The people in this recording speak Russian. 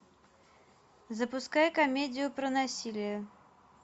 запускай комедию про насилие